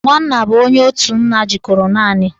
Nwanna bụ onye otu nna jikọrọ naanị